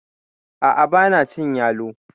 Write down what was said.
A'a banacin yalo